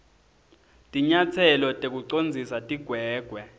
tinyatselo tekucondzisa tigwegwe